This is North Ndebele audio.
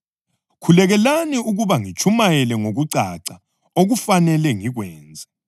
Khulekelani ukuba ngiyitshumayele ngokucaca okufanele ngikwenze.